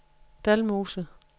Dalmose